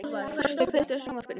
Frosti, kveiktu á sjónvarpinu.